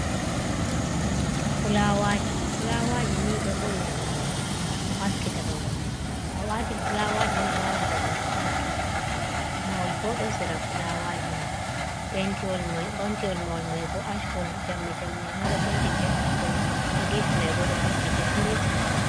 Fulawaji fulawaji ni ɗo vo’ina babal, ɗo haskita babal, to awati fulawaji ni alaran babal ɗo haskiti, mahol bo ɗo sera fulawaji mai pentiwol mahol mai bo ash kolo, jamdi jamdi mai bo penti be ash kolo, ha gefi mai bo ɗo penti be milik kolo.